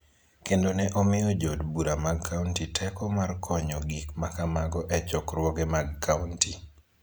kendo ne omiyo Jo od bura mag kaonti teko mar konyo gik ma kamago e chokruoge mag kaonti.